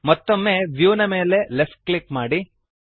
ಮತ್ತೊಮ್ಮೆ ವ್ಯೂ ನ ಮೇಲೆ ಲೆಫ್ಟ್ ಕ್ಲಿಕ್ ಮಾಡಿರಿ